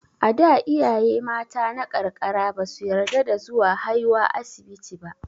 A da, iyaye mata na karkara ba su yarda da zuwa haiwa asibiti ba.